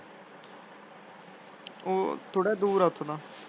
ਉਹ ਥੋੜਾ ਜਾ ਦੂਰ ਆ ਓਥੋਂ ਤਾਂ।